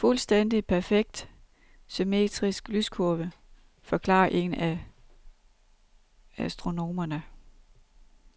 En fuldstændig perfekt, symmetrisk lyskurve, forklarer en af astronomerne.